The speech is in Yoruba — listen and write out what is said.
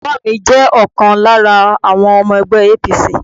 Bàbá mi jẹ́ ọ̀kan lára àwọn ọmọ ẹgbẹ́ APC.